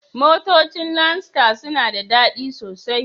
Motocin landstar suna da dadi sosai.